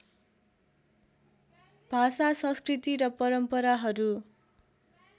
भाषा संस्कृति र परम्पराहरू